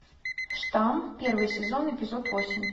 штамм первый сезон эпизод восемь